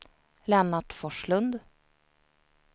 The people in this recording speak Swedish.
Lennart Forslund